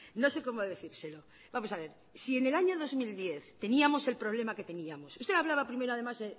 no sé cómo decírselo vamos a ver si en el año dos mil diez teníamos el problema que teníamos usted hablaba primero además